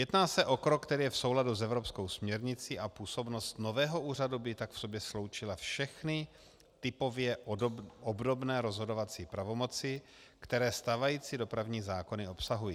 Jedná se o krok, který je v souladu s evropskou směrnicí, a působnost nového úřadu by tak v sobě sloučila všechny typově obdobné rozhodovací pravomoci, které stávající dopravní zákony obsahují.